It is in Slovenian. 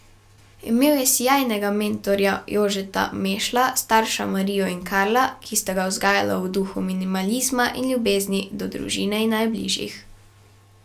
Imel je sijajnega mentorja Jožeta Mešla, starša Marijo in Karla, ki sta ga vzgajala v duhu minimalizma in ljubezni do družine in najbližjih.